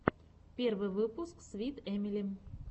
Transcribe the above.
первый выпуск свит эмили